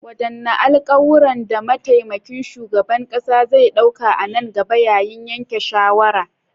Wadanne alkawuran da mataimakin shugaban kasa zai dauka a nan gaba yayin yanke shawara?